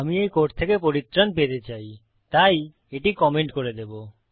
আমি এই কোড থেকে পরিত্রাণ পেতে চাই তাই এটি কমেন্ট করে দেবো